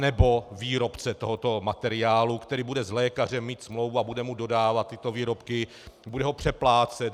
Anebo výrobce tohoto materiálu, který bude s lékařem mít smlouvu a bude mu dodávat tyto výrobky, bude ho přeplácet.